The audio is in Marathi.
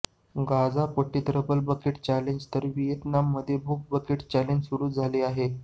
गाझापट्टीत रबल बकेट चॅलेंज तर व्हिएतनाममध्ये बुक बकेट चॅलेंज सुरू झाले आहे